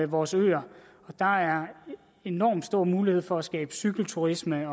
vores øer der er enormt stor mulighed for at skabe cykelturisme